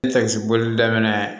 boli daminɛ